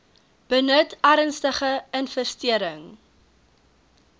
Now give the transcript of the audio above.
benut ernstige infestering